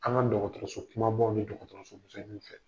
An ka dɔgɔtɔrɔso kumabaw ni dɔgɔtɔrɔso misɛnniw na.